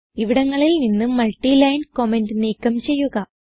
ഇവിടങ്ങളിൽ നിന്ന് multi line comment നീക്കം ചെയ്യുക